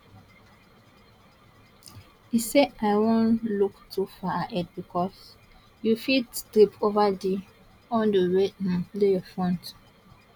e say i no wan look too far ahead bicos you fit trip ova di hurdle wey dey your front